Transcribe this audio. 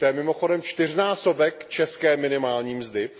To je mimochodem čtyřnásobek české minimální mzdy!